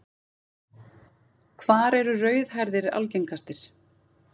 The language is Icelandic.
Hvar eru rauðhærðir algengastir?